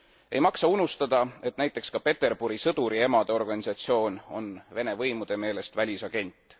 Ei maksa unustada, et näiteks ka Peterburi sõduriemade organisatsioon on Vene võimude meelest välisagent.